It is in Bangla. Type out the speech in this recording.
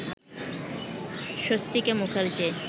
স্বস্তিকা মুখার্জি